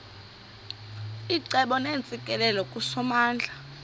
icebo neentsikelelo kusomandla